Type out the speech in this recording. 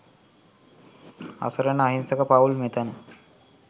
අසරණ අහිංසක පවුල් මෙතන